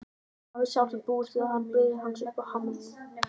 Hafði sjálfsagt búist við að hún biði hans uppi á hamrinum.